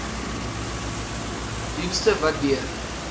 dienste wat deur